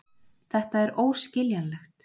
Þetta er óskiljanlegt.